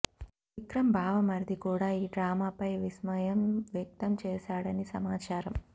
విక్రమ్ బావమరిది కూడా ఈ డ్రామాపై విస్మయం వ్యక్తం చేశాడని సమాచారం